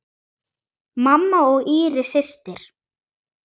Mamma og Íris systir.